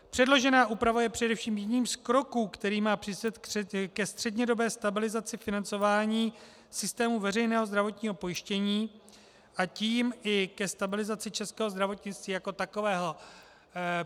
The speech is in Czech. Předložená úprava je především jedním z kroků, který má přispět ke střednědobé stabilizaci financování systému veřejného zdravotního pojištění, a tím i ke stabilizaci českého zdravotnictví jako takového.